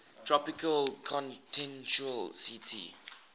tropical continental ct